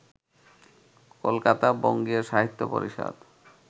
Kolkata Bangiya Sahitya Parishad